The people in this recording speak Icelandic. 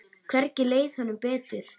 Hvergi leið honum betur.